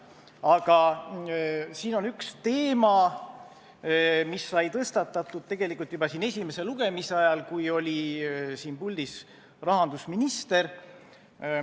Aga siin on üks teema, mis sai tõstatatud tegelikult juba esimese lugemise ajal, kui siin puldis oli rahandusminister.